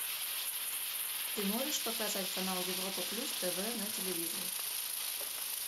ты можешь показать канал европа плюс тв на телевизоре